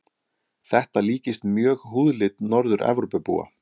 Þetta líkist mjög húðlit Norður-Evrópubúa.